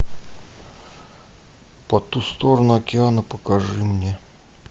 по ту сторону океана покажи мне